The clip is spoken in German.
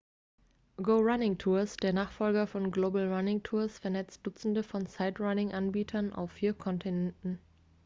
go running tours der nachfolger von global running tours vernetzt dutzende von sightrunning-anbietern auf vier kontinenten